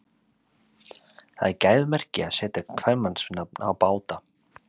Það er gæfumerki að setja kvenmannsnafn á báta.